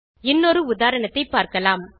இன்னொரு உதாரணத்தை பார்க்கலாம்